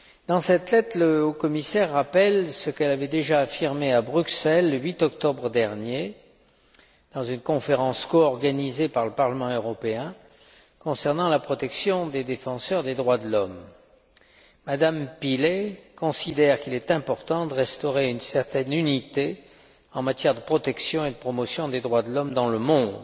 Dans cette lettre, M me Pillay rappelle ce qu'elle avait déjà affirmé à Bruxelles, le 8 octobre dernier, dans une conférence coorganisée par le Parlement européen concernant la protection des défenseurs des droits de l'homme. M me Pillay considère qu'il est important de restaurer une certaine unité en matière de protection et de promotion des droits de l'homme dans le monde,